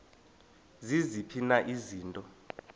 ziziphi na izinto